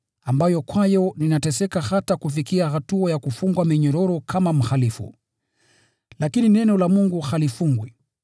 ambayo kwayo ninateseka hata kufikia hatua ya kufungwa minyororo kama mhalifu. Lakini neno la Mungu halifungwi.